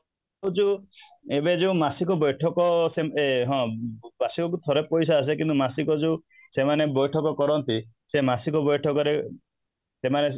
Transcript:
ଏବେ ଯୋଉ ଏବେ ଯୋଉ ମାସିକ ବୈଠକ ୟେ ହଁ ବାର୍ଷିକ ଯୋଉ ପଇସା ଆସେ କିନ୍ତୁ ମାସିକ ଯୋଉ ସେମାନେ ବୈଠକ କରନ୍ତି ସେଇ ମାସିକ ବୈଠକ ରେ ସେମାନେ